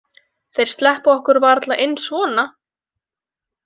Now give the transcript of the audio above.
Þeir sleppa okkur varla inn svona?